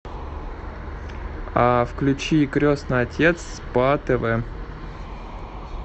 а включи крестный отец по тв